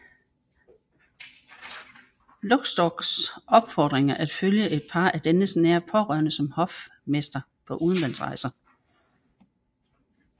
Luxdorphs opfordring at følge et par af dennes nære pårørende som hofmester på udenlandsrejse